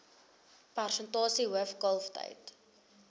persentasie hoof kalftyd